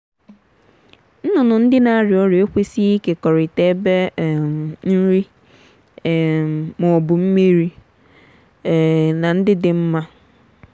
nnụnụ ndị na-arịa ọrịa ekwesịghị ịkekọrịta ebe um nri um ma ọ bụ mmiri um na ndị dị mma.